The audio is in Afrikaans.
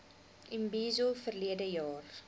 imbizo verlede jaar